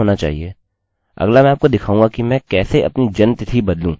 अतः सर्वप्रथम मैं इन 2 लाइनों को नहीं दर्शाऊँगा जिससे कि मुझे इसे पुनः रन करने कि जरुरत न पड़े